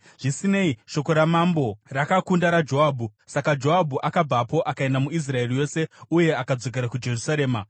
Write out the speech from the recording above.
Zvisinei, shoko ramambo rakakunda raJoabhu, saka Joabhu akabvapo akaenda muIsraeri yose uye akadzokera kuJerusarema.